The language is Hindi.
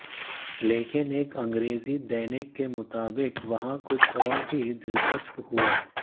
लेकिन एक अंग्रेज़ी दैनिक के मुताबिक वहां कुछ और भी दिलचस्प हुआ